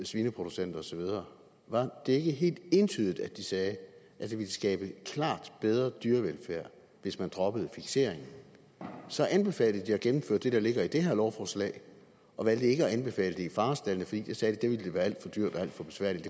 svineproducenter og så videre var det ikke helt entydigt at de sagde at det ville skabe klart bedre dyrevelfærd hvis man droppede fikseringen så anbefalede de at gennemføre det der ligger i det her lovforslag og valgte ikke at anbefale det i farestaldene fordi der sagde der ville det være alt for dyrt og alt for besværligt